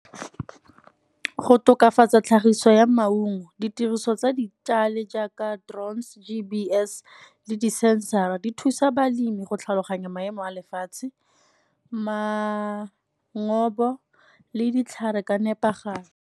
Go tokafatsa tlhagiso ya maungo ditiriso tsa di jaaka drone, G_P_S le di-sensor-ra di thusa balemi go tlhaloganya maemo a lefatshe, le ditlhare ka nepagalo.